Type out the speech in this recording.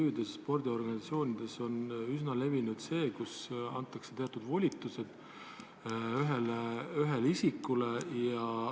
MTÜ-des, spordiorganisatsioonides on üsna levinud, et antakse teatud volitused ühele isikule.